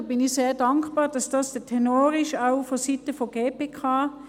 Ich bin sehr dankbar, dass dies der Tenor ist, auch vonseiten der GPK.